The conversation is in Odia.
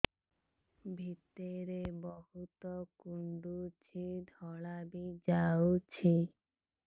ଭିତରେ ବହୁତ କୁଣ୍ଡୁଚି ଧଳା ବି ଯାଉଛି